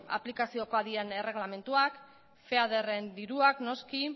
aplikaziokoak diren erreglamenduak diruak noski